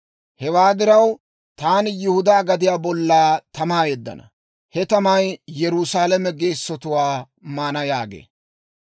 Hewaa diraw, taani Yihudaa gadiyaa bolla tamaa yeddana; he tamay Yerusaalame geessotuwaa maana» yaagee.